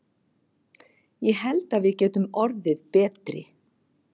Ég held að við getum orðið betri.